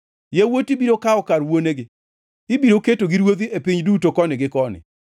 Yawuoti biro kawo kar wuonegi; ibiro ketogi ruodhi e piny duto koni gi koni.